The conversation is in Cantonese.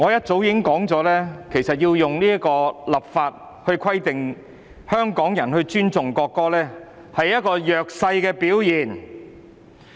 主席，我很早便已指出，以立法來規定香港人尊重國歌其實是弱勢的表現。